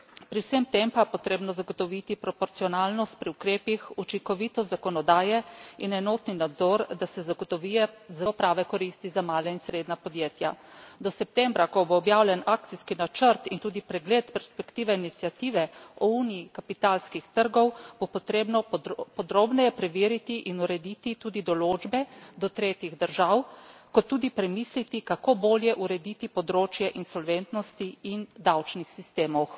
Pri vsemu temu pa je potrebno zagotoviti proporcionalnost pri ukrepih, učinkovitost zakonodaje in enotni nadzor, da se zagotovijo prave koristi za mala in srednja podjetja. Do septembra, ko bo objavljen akcijski načrt in tudi pregled perspektive iniciative o uniji kapitalskih trgov, bo potrebno podrobneje preveriti in urediti tudi določbe do tretjih držav, kot tudi premisliti, kako bolje urediti področje insolventnosti in davčnih sistemov.